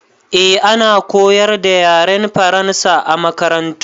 Eh, ana koyar da yaren Faransa a makarantu.